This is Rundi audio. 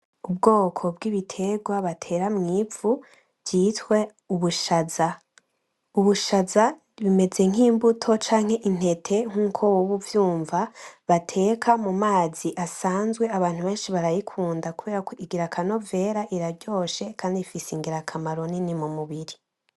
Ubwoko bwibiterwa batera mw'ivu bwitwa ubushaza. Ubushaza bumeze nkimbuto canke intete, nkuko woba uvyumva, bateka mumazi asanzwe. Abantu benshi barayikunda kubera ko igira akanovera, iraryoshe kandi ifise ingirakamaro kanini mumubiri.